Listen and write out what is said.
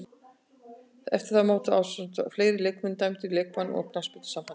Eftir mótið var hann ásamt fleiri leikmönnum dæmdur í leikbann af knattspyrnusambandinu.